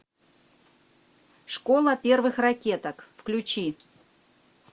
школа первых ракеток включи